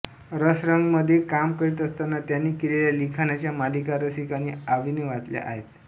रसरंगमध्ये काम करीत असताना त्यांनी केलेल्या लिखाणाच्या मालिका रसिकांनी आवडीने वाचल्या आहेत